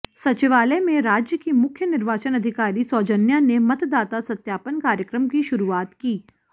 सचिवालय में राज्य की मुख्य निर्वाचन अधिकारी सौजन्या ने मतदाता सत्यापन कार्यक्रम की शुरुआत की